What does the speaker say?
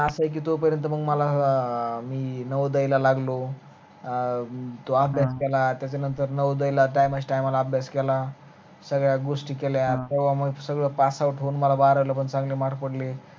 अस आहे कि तोपर्यंत मग मला मी नवोदय ला लागलो अं तो अभ्यास केला त्याच्यानंतर नवोदय ला time, time ला अभ्यास केला सगळ्या गोष्टी केल्या तवा मग सगळ pass out मला भार जावून चांगल mark पडले